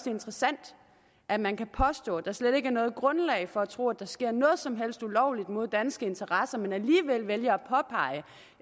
interessant at man kan påstå at der slet ikke er noget grundlag for at tro at der sker noget som helst ulovligt mod danske interesser men alligevel vælger